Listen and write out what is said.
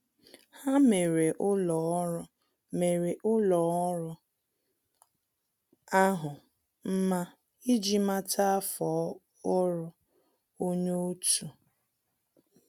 Há mèrè ụ́lọ́ ọ́rụ́ mèrè ụ́lọ́ ọ́rụ́ ahụ́ mma iji màtá áfọ́ ọ́rụ́ onye otu.